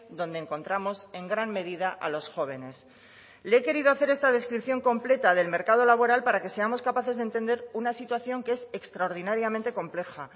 donde encontramos en gran medida a los jóvenes le he querido hacer esta descripción completa del mercado laboral para que seamos capaces de entender una situación que es extraordinariamente compleja